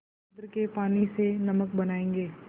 समुद्र के पानी से नमक बनायेंगे